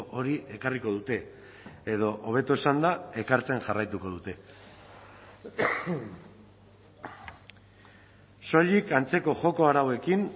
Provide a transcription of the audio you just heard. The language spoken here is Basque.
hori ekarriko dute edo hobeto esanda ekartzen jarraituko dute soilik antzeko joko arauekin